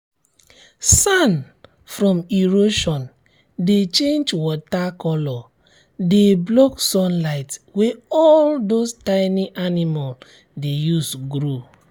sand from erosion dey change water coloure de block sunlight wey all those tiny animal de use grow